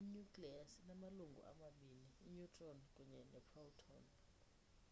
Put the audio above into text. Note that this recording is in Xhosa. i-nucleus inamalungu amabini i-neutron kunye neeproton